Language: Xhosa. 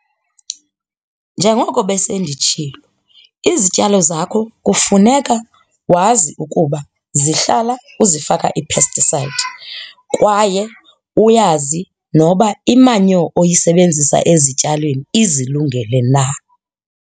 Njengoko besenditshilo, izityalo zakho kufuneka wazi ukuba zihlala uzifaka ii-pesticide kwaye uyazi noba imanyo oyisebenzisa ezityalweni izilungele na.